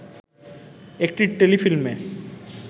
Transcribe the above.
একটি টেলিফিল্মে